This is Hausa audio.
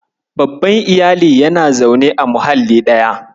Babban Iyali yana zaune a muhalli ɗaya.